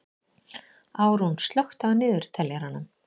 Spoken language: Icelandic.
Árún, slökktu á niðurteljaranum.